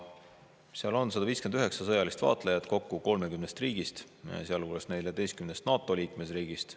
Seal on 159 sõjalist vaatlejat kokku 30 riigist, sealhulgas 14 NATO liikmesriigist.